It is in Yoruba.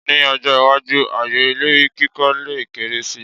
Ní ọjọ́-iwájú, ààyè ilé kíkọ́ lè kéré si.